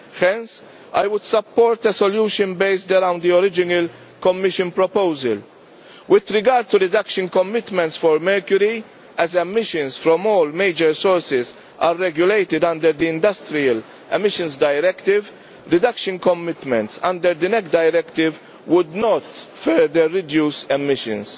Hence I would support a solution based around the original Commission proposal. With regard to reduction commitments for mercury, as emissions from all major sources are regulated under the Industrial Emissions Directive, reduction commitments under the NEC directive would not further reduce emissions.